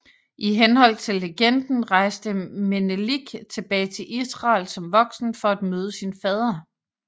I henhold til legenden rejste Menelik tilbage til Israel som voksen for at møde sin fader